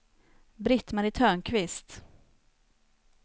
Britt-Marie Törnqvist